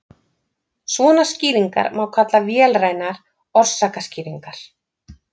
svona skýringar má kalla vélrænar orsakaskýringar